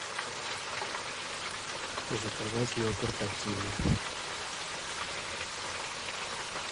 заказать йогурт активия